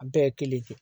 A bɛɛ ye kelen ye